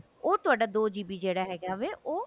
ਉਹ ਤੁਹਾਡਾ ਦੋ GB ਜਿਹੜਾ ਹੈਗਾ ਵਾ ਉਹ